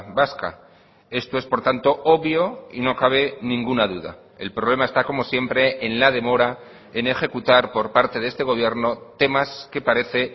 vasca esto es por tanto obvio y no cabe ninguna duda el problema está como siempre en la demora en ejecutar por parte de este gobierno temas que parece